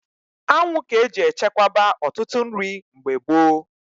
Anwụ ga-eji echekwaba ọtụtụ nri mgbe gboo.